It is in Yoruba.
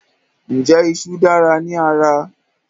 Ǹjẹ́ ìṣù dára ní ara?